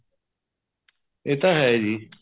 ਏਹ ਤਾਂ ਏ ਜ਼ੀ